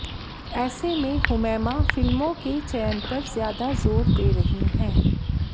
ऐसे में हुमैमा फिल्मों के चयन पर ज्यादा जोर दे रही हैं